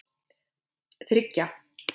þriggja